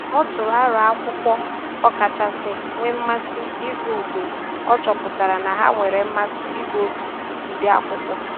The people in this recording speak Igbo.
Ọ tụrụ aro akwụkwọ ọ kachasị nwee mmasị ịgụ mgbe ọ chọpụtara na ha nwere mmasị ịgụ otu ụdị akwụkwọ